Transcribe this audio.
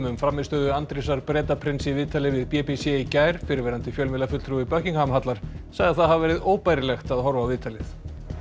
um frammistöðu Andrésar Bretaprins í viðtali við b b c í gær fyrrverandi fjölmiðlafulltrúi Buckingham hallar sagði það hafa verið óbærilegt að horfa á viðtalið